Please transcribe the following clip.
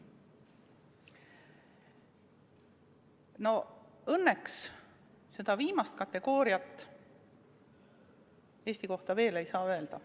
No õnneks seda viimast Eesti kohta veel öelda ei saa.